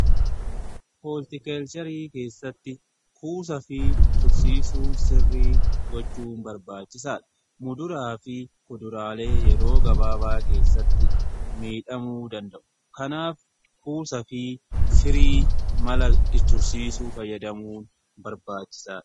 Hooltikeelcherii keessatti kuusa fi tursiisuu sirrii gochuu barbaachisaa dha. Muduraa fi kuduraalee yeroo gabaabaa keessatti miidhamuu danda'u kanaaf kuusa fi firii mala tursiisuu fayyadamuun barbaachisaadha.